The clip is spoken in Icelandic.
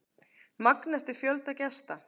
Magn eftir fjölda gesta.